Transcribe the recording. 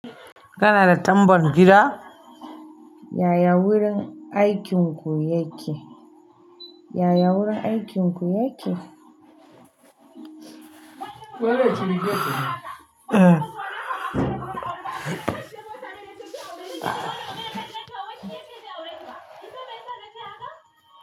Kana da tambon gida? Yaya wurin aikinku yake? Yaya wurin aikinku yake? Wai rage telebijin. Eh.